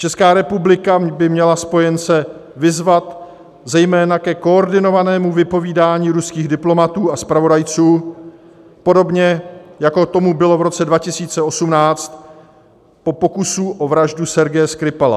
Česká republika by měla spojence vyzvat zejména ke koordinovanému vypovídání ruských diplomatů a zpravodajců, podobně jako tomu bylo v roce 2018 po pokusu o vraždu Sergeje Skripala.